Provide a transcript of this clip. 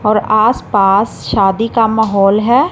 और आसपास शादी का माहौल है।